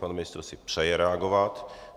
Pan ministr si přeje reagovat.